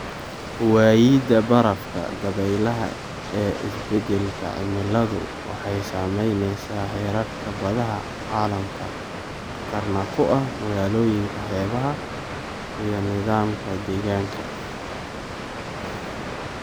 Waayida barafka dabaylaha ee isbedelka cimiladu waxay saamaynaysaa heerarka badaha caalamka, khatarna ku ah magaalooyinka xeebaha iyo nidaamka deegaanka.